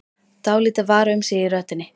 Dálítið var um sig í röddinni.